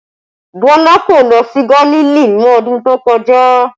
Bọlá kò lọ sí Gálílì ní ọdún tó kọjá